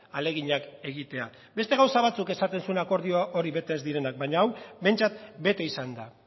ahaleginak egitea beste gauza batzuk esaten zituen akordio horrek bete ez direnak baina hau behintzat bete izan da